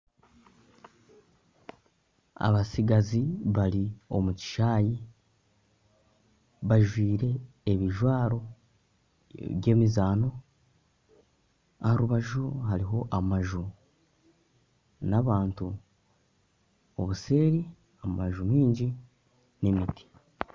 Abatsigazi bari omu kishaayi bajwaire ebijwaaro by'emizaano aharubaju hariho amaju n'abantu obuseeri amaju maingi nana emiti.